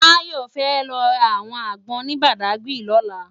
Tayo fè lò rá áwòn ágbòn ni Bàdágiri lòlá